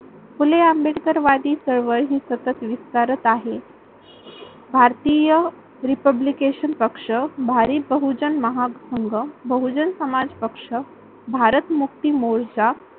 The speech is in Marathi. फुले आंबेडकरवादी चळवळ ही सतत विस्तारत आहे. भारतीय रिपब्लिकेशन पक्ष, भारी बहुजन महासंघ, बहुजन समाज पक्ष, भारत मुक्ती मोर्चा